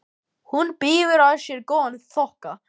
Berti, spilaðu tónlist.